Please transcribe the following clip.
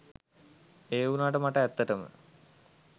ඒ වුණාට මට ඇත්තටම